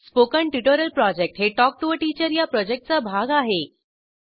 spoken tutorial project हे talk to teacher या प्रॉजेक्टचा भाग आहे